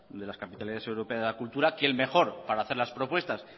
capitalidad europea de la cultura quién mejor para hacer las propuestas